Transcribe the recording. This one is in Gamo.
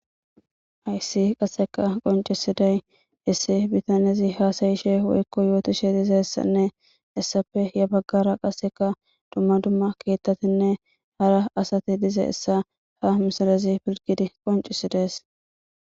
Hayssi qasseka qoncisiday issi bitanezi haasayishe woykko yootishe dize essanne essape ya baggara qasseka dumma dumma keettatinne hara asati diza essa ha misalazi pilgidi qoncisidees